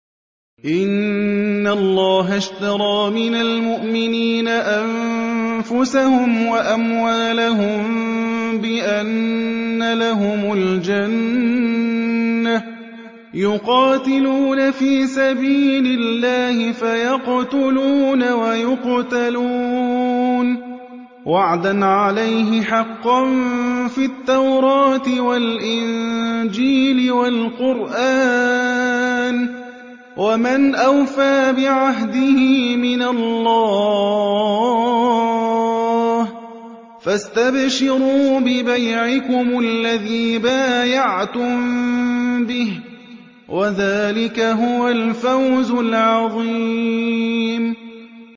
۞ إِنَّ اللَّهَ اشْتَرَىٰ مِنَ الْمُؤْمِنِينَ أَنفُسَهُمْ وَأَمْوَالَهُم بِأَنَّ لَهُمُ الْجَنَّةَ ۚ يُقَاتِلُونَ فِي سَبِيلِ اللَّهِ فَيَقْتُلُونَ وَيُقْتَلُونَ ۖ وَعْدًا عَلَيْهِ حَقًّا فِي التَّوْرَاةِ وَالْإِنجِيلِ وَالْقُرْآنِ ۚ وَمَنْ أَوْفَىٰ بِعَهْدِهِ مِنَ اللَّهِ ۚ فَاسْتَبْشِرُوا بِبَيْعِكُمُ الَّذِي بَايَعْتُم بِهِ ۚ وَذَٰلِكَ هُوَ الْفَوْزُ الْعَظِيمُ